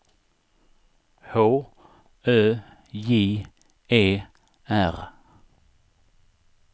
H Ö J E R